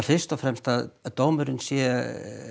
fyrst og fremst að dómurinn sé